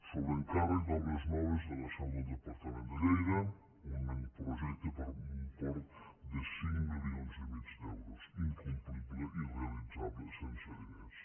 sobre encàrrec d’obres noves de la seu del departament de lleida un projecte per un import de cinc milions i mig d’euros incomplible i irrealitzable sense diners